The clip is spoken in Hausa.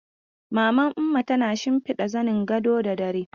Maman Umma tana shimfiɗa zanin gado da dare.